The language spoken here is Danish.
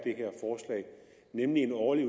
nemlig en årlig